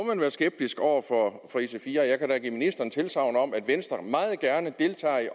være skeptisk over for ic4 og jeg kan da give ministeren tilsagn om at venstre meget gerne deltager i